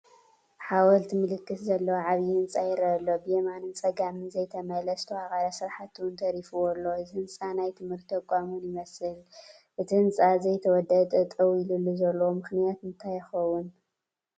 ሓወልቲ ምልክት ዘለዎ ዓብይ ህንፃ ይረአ ኣሎ፡፡ ብየማንን ፀጋምን ዘይተመለአ ዝተዋቐረ ስራሕቲ ውን ተሪፉዎ ኣሎ፡፡ እዚ ህንፃ ናይ ት/ቲ ተቋም ውን ይመስል፡፡ እቲ ህንፃ ዘይተወደአ ጠጠው ኢሉሉ ዘሎ ምኽንያት እንታይ ይኸውን?